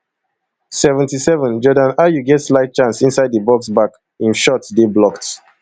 seventy-sevenjordan ayew get slight chance inside di box back im shot dey blocked